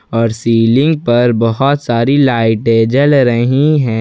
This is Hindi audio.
और सीलिंग पर बहुत सारी लाइटे जल रही है।